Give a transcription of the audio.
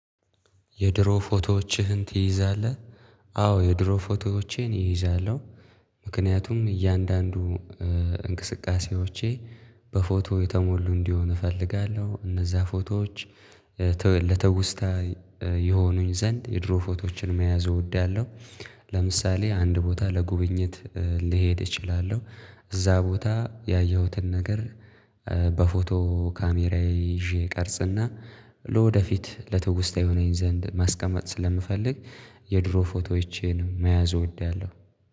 የድሮ ፎቶዎችህን ትይዛለህ? አዎ የድሮ ፎቶዎቼን እይዛለሁ። ምክንያቱም እያንዳንዱ እንቅስቃሴዎቼ በፎቶ የተሞሉ እንዲሆን እፈልጋለሁ እነዛ ፎቶዎች ለትውስታ ይሆኑኝ ዘንድ የድሮ ፎቶዎችን መያዝ እወዳለሁ። ለምሳሌ አንድ ቦታ ለጉብኝት ልሄድ እችላለሁ። እዛ ቦታ ያየሁትን ነገር በፎቶ ካሜራዬ ይዤ ቀርጽና ለወደፊት ለትውስታ ይሆነኝ ዘንድ ማስቀመጥ ስለምፈልግ የድሮ ፎቶዎቼን መያዝ እወዳለሁ